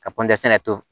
Ka panpesɛnɛ to